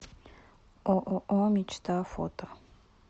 ооо мечта фото